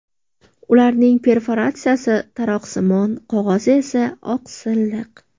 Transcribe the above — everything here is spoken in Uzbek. Ularning perforatsiyasi taroqsimon, qog‘ozi esa oq silliq.